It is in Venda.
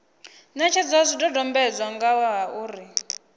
netshedza zwidodombedzwa nga ha uri